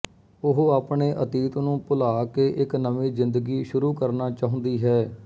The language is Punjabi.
ਉਹ ਆਪਣੇ ਅਤੀਤ ਨੂੰ ਭੁਲਾ ਕੇ ਇੱਕ ਨਵੀਂ ਜ਼ਿੰਦਗੀ ਸ਼ੁਰੂ ਕਰਨਾ ਚਾਹੁੰਦੀ ਹੈ